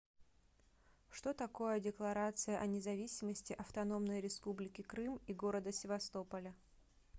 что такое декларация о независимости автономной республики крым и города севастополя